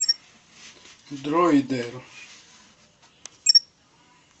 дроидер